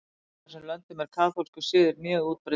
Í báðum þessum löndum er kaþólskur siður mjög útbreiddur.